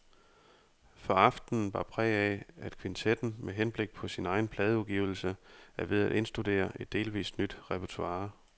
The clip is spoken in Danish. For aftenen bar præg af, at kvintetten med henblik på sin egen pladeudgivelse er ved at indstudere et delvist nyt repertoire.